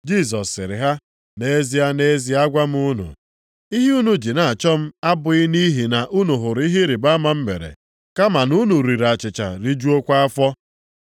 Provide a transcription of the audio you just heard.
Jisọs sịrị ha, “Nʼezie, nʼezie agwa m unu, ihe unu ji na-achọ m abụghị nʼihi na unu hụrụ ihe ịrịbama m mere, kama na unu riri achịcha rijuokwa afọ.